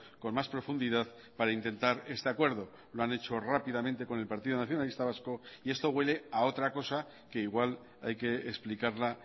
con más profundidad para intentar este acuerdo lo han hecho rápidamente con el partido nacionalista vasco y esto huele a otra cosa que igual hay que explicarla